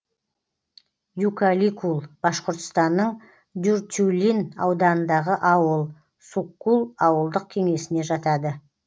юкаликул башқұртстанның дюртюлин ауданындағы ауыл суккул ауылдық кеңесіне жатады